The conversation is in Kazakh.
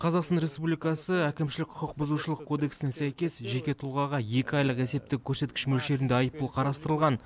қазақстан республикасы әкімшілік құқық бұзушылық кодексіне сәйкес жеке тұлғаға екі айлық есептік көрсеткіш мөлшерінде айыппұл қарастырылған